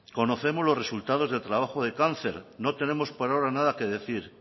conocemos los resultados del trabajo de cáncer no tenemos por ahora nada que decir